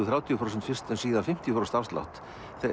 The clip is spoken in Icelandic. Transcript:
þrjátíu prósent fyrst en síðan fimmtíu prósent afslátt